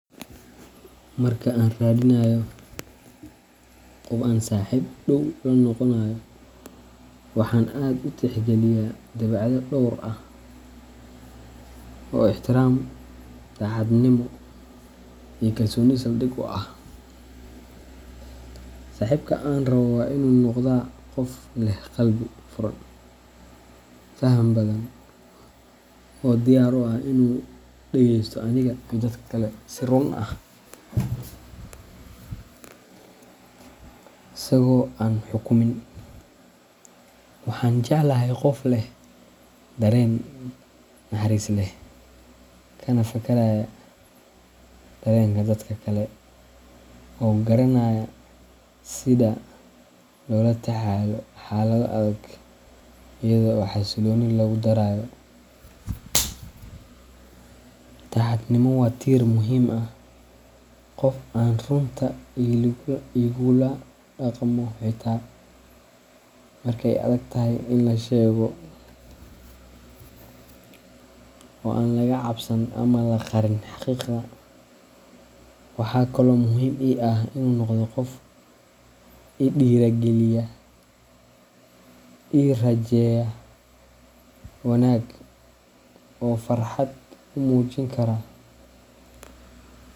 Marka aan raadinayo qof aan saaxiib dhow la noqonayo, waxaan aad u tixgeliyaa dabeecado dhowr ah oo ixtiraam, daacadnimo, iyo kalsooni saldhig u ah. Saaxiibka aan rabo waa inuu noqdaa qof leh qalbi furan, faham badan, oo diyaar u ah inuu dhagaysto aniga iyo dadka kale si run ah, asagoo aan xukumin. Waxaan jeclahay qof leh dareen naxariis leh, kana fakaraya dareenka dadka kale, oo garanaya sida loola tacaalo xaalado adag iyada oo xasillooni lagu darayo. Daacadnimo waa tiir muhiim ah: qof aan runta igula dhaqmo xittaa marka ay adag tahay in la sheego, oo aan laga cabsan ama la qarin xaqiiqda. Waxaa kaloo muhiim ii ah inuu noqdo qof i dhiirrigeliya, ii rajeeya wanaag, oo farxad u muujin kara.